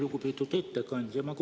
Lugupeetud ettekandja!